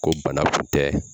Ko bana kun tɛ